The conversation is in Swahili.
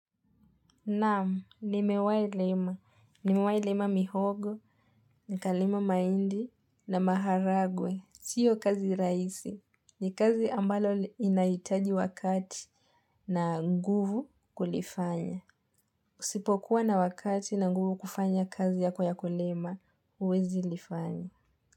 Naam, nimewailima. Nimewailima mihogo, nikalima maindi na maharagwe. Sio kazi raisi. Ni kazi ambalo inaitaji wakati na nguvu kulifanya. Usipokuwa na wakati na nguvu kufanya kazi yako ya kulima, uwezi lifanya.